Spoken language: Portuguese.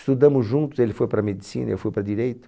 Estudamos juntos, ele foi para Medicina, eu fui para Direito.